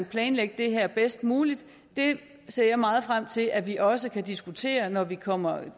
planlægge det her bedst muligt ser jeg meget frem til vi også kan diskutere når vi kommer